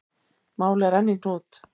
Málið er enn í hnút.